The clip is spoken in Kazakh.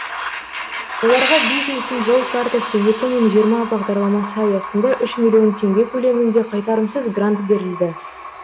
оларға бизнестің жол картасы екі мың жиырма бағдарламасы аясында үш миллион теңге көлемінде қайтарымсыз грант берілді